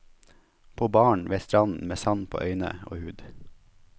På baren, ved stranden, med sand på øyne og hud.